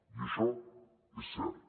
i això és cert